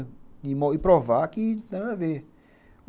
E provar que não tem nada a ver.